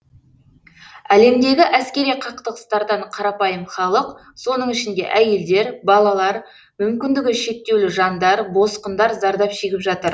әлемдегі әскери қақтығыстардан қарапайым халық соның ішінде әйелдер балалар мүмкіндігі шектеулі жандар босқындар зардап шегіп жатыр